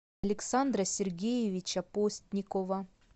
александра сергеевича постникова